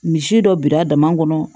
Misi dɔ birira dama kɔnɔ